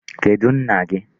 Kedụ nna gị?